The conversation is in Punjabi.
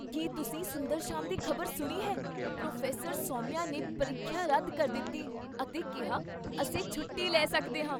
ਕੀ ਤੁਸੀਂ ਸੁੰਦਰਸ਼ਾਮ ਦੀ ਖ਼ਬਰ ਸੁਣੀ ਹੈ? ਪ੍ਰੋਫੈਸਰ ਸੌਮਿਆ ਨੇ ਪ੍ਰੀਖਿਆ ਰੱਦ ਕਰ ਦਿੱਤੀ ਅਤੇ ਕਿਹਾ ਅਸੀਂ ਛੁੱਟੀ ਲੈ ਸਕਦੇ ਹਾਂ!